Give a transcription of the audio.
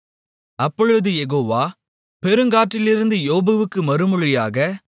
அப்பொழுது யெகோவா பெருங்காற்றிலிருந்து யோபுக்கு மறுமொழியாக